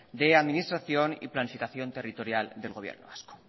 de administración y planificación territorial del gobierno vasco